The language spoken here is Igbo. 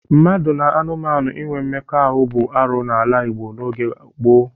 Mmadụ na anụmanụ inwe mmekọahụ bụ arụ n'ala Igbo n'oge gboo.